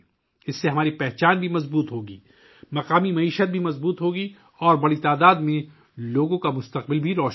یہ ہماری شناخت کو بھی مضبوط کرے گا، مقامی معیشت کو مضبوط کرے گا اور لوگوں کی ایک بڑی تعداد کے لیے، ایک روشن مستقبل بھی فراہم کرے گا